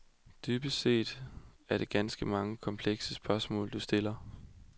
Dybest set er det ganske mange og komplekse spørgsmål, du stiller.